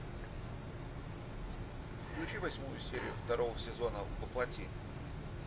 включи восьмую серию второго сезона во плоти